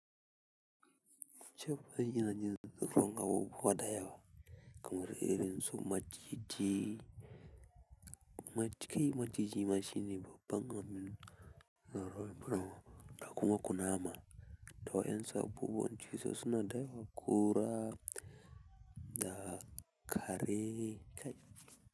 Cab, ai ina jin tsoron abubuwa da yawa, kamar irin su maciji mac kai, maciji ma shine babban abun, hr barin tura ma. Ga kuma da kuma kunama. To yanzu abubuwan cizo suna da yawa, ƙura da kare.